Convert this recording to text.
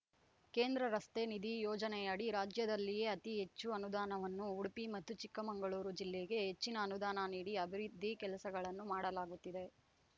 ಕೇಂದ್ರ ರಸ್ತೆ ನಿಧಿ ಯೋಜನೆಯಡಿ ರಾಜ್ಯದಲ್ಲಿಯೇ ಅತಿ ಹೆಚ್ಚು ಅನುದಾನವನ್ನು ಉಡುಪಿ ಮತ್ತು ಚಿಕ್ಕಮಗಳೂರು ಜಿಲ್ಲೆಗೆ ಹೆಚ್ಚಿನ ಅನುದಾನ ನೀಡಿ ಅಭಿವೃದ್ಧಿ ಕೆಲಸಗಳನ್ನು ಮಾಡಲಾಗುತ್ತಿದೆ